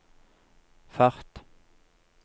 fart